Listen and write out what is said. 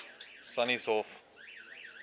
sannieshof